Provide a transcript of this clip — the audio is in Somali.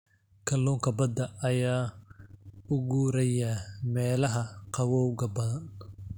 Kalluunka badda ayaa u guuraya meelaha qabowga badan.